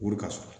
Wari ka sɔrɔ